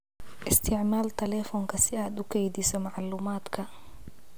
Isticmaal telefoonka si aad u kaydiso macluumaadka.